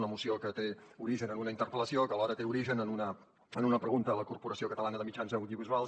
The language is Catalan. una moció que té origen en una interpel·lació que alhora té origen en una pregunta a la corporació catalana de mitjans audiovisuals